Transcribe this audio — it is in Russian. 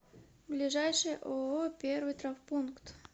ближайший ооо первый травмпункт